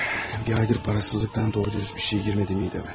Bir aydır parasızlıqdan doğru-düzgün bir şey girmədi mədəmi.